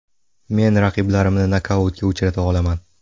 Men raqiblarimni nokautga uchrata olaman”.